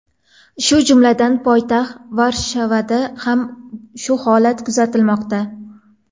Shu jumladan, poytaxt Varshavada ham shu holat kuzatilmoqda.